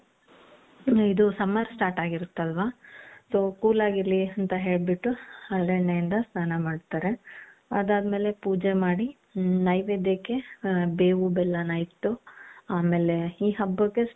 ಇದು summer start ಆಗಿರುತ್ತಲ್ವಾ so cool ಆಗಿರಲಿ ಅಂತ ಹೇಳ್ಬಿಟ್ಟು ಹರಳೆಣ್ಣೆಯಿಂದ ಸ್ನಾನ ಮಾಡ್ತಾರೆ ಅದಾದ್ಮೇಲೆ ಪೂಜೆ ಮಾಡಿ ನೈವೇದ್ಯಕ್ಕೆ ಬೇವು ಬೆಲ್ಲನ ಇಟ್ಟು ಆಮೇಲೆ ಈ ಹಬ್ಬಕ್ಕೆ.